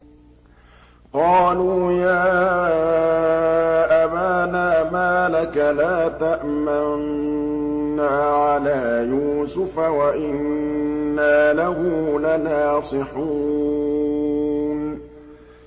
قَالُوا يَا أَبَانَا مَا لَكَ لَا تَأْمَنَّا عَلَىٰ يُوسُفَ وَإِنَّا لَهُ لَنَاصِحُونَ